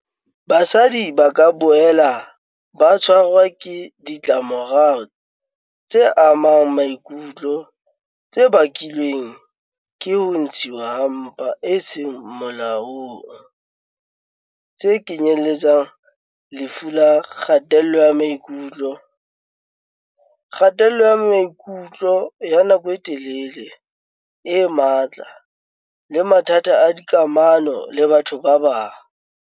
"Basadi ba ka boela ba tshwarwa ke ditlamorao tse amang maikutlo tse bakilweng ke ho ntshuwa ha mpa ho seng molaong, tse kenyeletsang lefu la kgatello ya maikutlo, kgatello ya maikutlo ya nako e telele e matla le mathata a dikamano le batho ba bang."